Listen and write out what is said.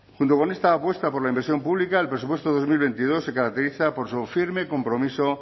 junto con esta apuesta por la inversión pública el presupuesto del dos mil veintidós se caracteriza por su firme compromiso